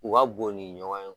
U ka bon ni ɲɔgɔn ye